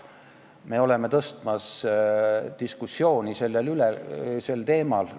Me oleme algatamas diskussiooni sellel teemal.